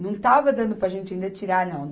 Não estava dando para a gente ainda tirar, não.